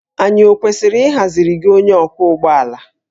Anyị ọ kwesịrị ịhaziri gị onye ọkwọ ụgbọ ala?